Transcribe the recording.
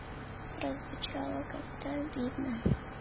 прозвучало как-то обидно